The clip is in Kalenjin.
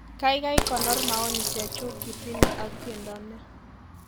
Kaikai konor maoni chechu kitine ak tiendo ni